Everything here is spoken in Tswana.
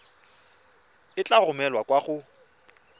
e tla romelwa kwa go